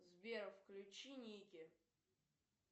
сбер включи никки